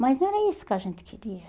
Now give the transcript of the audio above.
Mas não era isso que a gente queria.